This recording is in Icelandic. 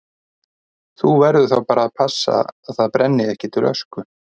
Þú verður þá að passa að það brenni ekki til ösku.